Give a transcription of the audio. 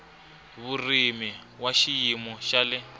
vurimi wa xiyimo xa le